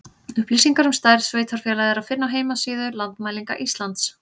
Upplýsingar um stærð sveitarfélaga er að finna á heimasíðu Landmælinga Íslands.